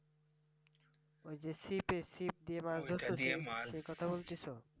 ওই যে ছিপে ছিপ দিয়ে মাছ ধরছ যে সেই কথা বলতেছ?